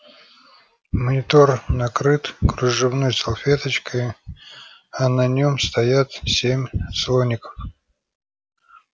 монитор накрыт кружевной салфеточкой а на нем стоят семь слоников